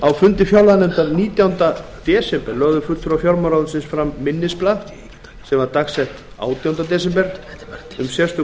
á fundi fjárlaganefndar nítjánda desember lögðu fulltrúar fjármálaráðuneytisins fram minnisblað dags átjánda desember um sérstök